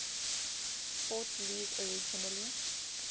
sports league originally